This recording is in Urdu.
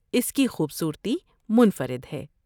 اس کی خوبصورتی منفرد ہے۔